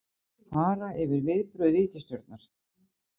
Fara yfir viðbrögð ríkisstjórnar